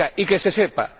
Y que se sepa.